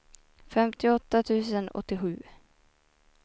femtioåtta tusen åttiosju